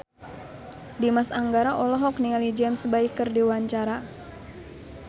Dimas Anggara olohok ningali James Bay keur diwawancara